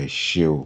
Ẹ̀ṣé o.